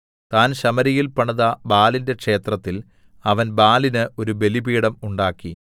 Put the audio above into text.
താൻ ശമര്യയിൽ പണിത ബാലിന്റെ ക്ഷേത്രത്തിൽ അവൻ ബാലിന് ഒരു ബലിപീഠം ഉണ്ടാക്കി